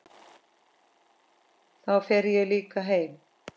Þá fer ég líka heim